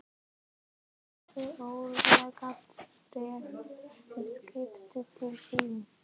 Það verður örugglega bréf með skipinu til þín.